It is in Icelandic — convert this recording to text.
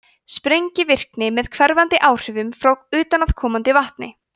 sprengivirkni með hverfandi áhrifum frá utanaðkomandi vatni